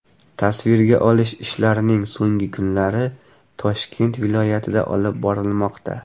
Tasvirga olish ishlarining so‘nggi kunlari Toshkent viloyatida olib borilmoqda.